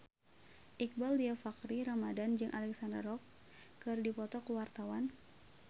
Iqbaal Dhiafakhri Ramadhan jeung Alexandra Roach keur dipoto ku wartawan